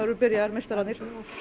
byrjaðar meistararnir